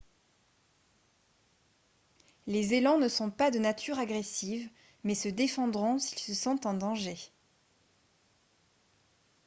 les élans ne sont pas de nature agressive mais se défendront s'ils se sentent en danger